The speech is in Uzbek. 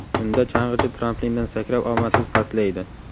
Unda chang‘ichi tramplindan sakrab, omadsiz pastlaydi.